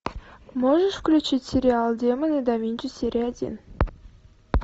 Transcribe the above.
можешь включить сериал демоны да винчи серия один